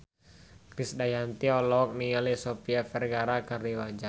Krisdayanti olohok ningali Sofia Vergara keur diwawancara